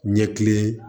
Ɲɛkilen